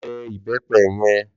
Lò bè ibèpè yèn